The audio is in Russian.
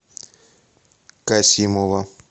касимова